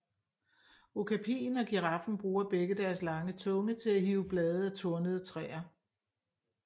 Okapien og giraffen bruger begge deres lange tunge til at hive blade af tornede træer